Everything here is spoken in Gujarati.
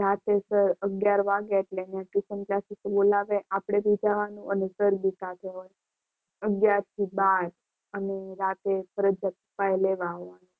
રાતે અગિયાર વાગે એટલે અમને ટ્યુશન ક્લાસીસ બોલાવે આપણે તો જવાનું અને સર બી ત્યાં હોય. અગિયાર થી બાર અને રાતે ફરજિયાત